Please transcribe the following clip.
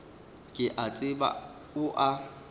ke a tseba o a